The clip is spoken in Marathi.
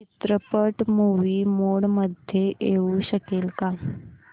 चित्रपट मूवी मोड मध्ये येऊ शकेल का